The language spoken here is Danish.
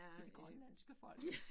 Til det grønlandske folk